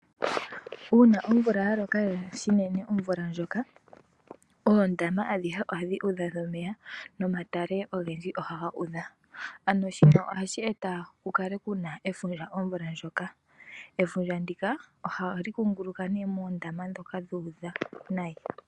Uuna omvula yaloka lela shinine omvula ndjoka, oondama adhihe ohadhi udha omeya momatale ogendji ohaga udha, ano shino ohashi eta kukale kuna efundja ovula ndjoka. Efundja ndika ohali kunguluka nee moondama dhoka dhuudha nayi.